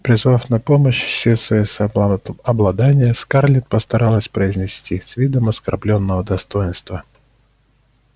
призвав на помощь все своё самообладание скарлетт постаралась произнести с видом оскорблённого достоинства